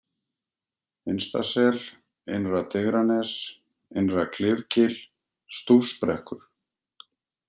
Innstasel, Innra-Digranes, Innra-Klifgil, Stúfsbrekkur